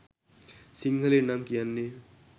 සිංහලෙන් නම් කියන්නේ